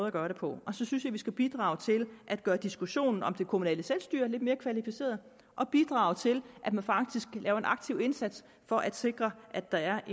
at gøre det på så synes jeg at vi skal bidrage til at gøre diskussionen om det kommunale selvstyre lidt mere kvalificeret og bidrage til at man faktisk laver en aktiv indsats for at sikre at der er